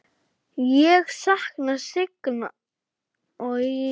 Ég sakna Sigga míns.